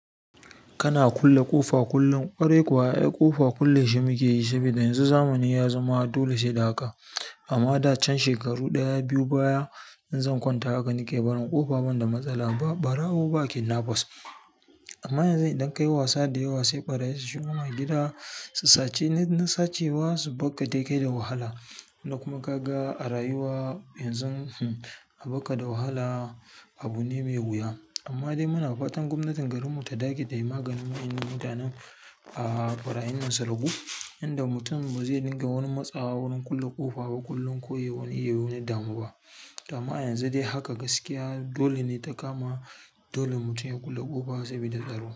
Kana kulle ƙofa kullum, ƙorai kuwa, eh ƙofa kulle shi muke yi saboda yanzu zamani ya zama dole sai da haka. A da can shekaru ɗaya biyu baya inzan konta haka nake barin ƙofa ban da matsala ba barawo ba kidnafas amma yanzu idan ka yi wasa da yawa sai ɓarayi su shiga ma gida su suci, na sace wa su bakka dakao da wahala. Kuma ka ga a rayuwa yanzu, hmm aɓakka da wahala abu ne mai wuya. Amma dai muna fatan gwamnatin garinmu ta dage da yin maganin wa ennan mutanen, ah farayinna su ragu. Inda mutum ba zai dinga wani matsawa wurin kulle ƙofa ba kullum ko yi wani yawani damu ba. To amma yanzu dai haka gaskiya dole ne ta kama dole mutum ya kulle ƙofa sabida tsaro.